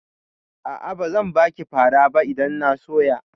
A'a, bazan baki fara ba idan na soya.